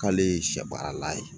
K'ale ye sɛ baara la ye